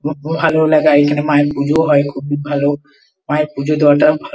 ভালো লাগার এখানে মায়ের পুজো হয় খুব ভালো। মায়ের পূজো দেওয়াটাও ভালো।